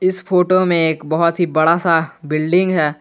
इस फोटो में एक बहुत ही बड़ा सा बिल्डिंग है।